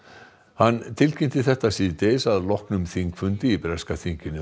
hann tilkynnti þetta síðdegis að loknum þingfundi í breska þinginu